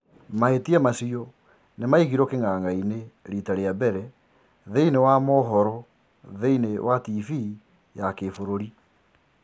Mahitia macio nimaigirwo king'ang'a-ini rita ria mbere thiinie wa tariba thiinie wa Tv ya Gibururi